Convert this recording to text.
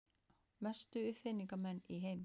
Mestu uppfinningamenn í heimi.